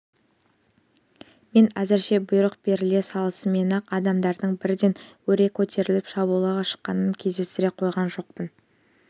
мен әзірше бұйрық беріле салысымен-ақ адамдардың бірден өре көтеріліп шабуылға шыққанын кездестіре қойған жоқпын